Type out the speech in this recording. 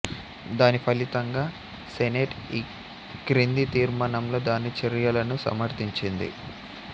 దాని ఫలితంగా సెనేట్ ఈ క్రింది తీర్మానంలో దాని చర్యలను సమర్థించింది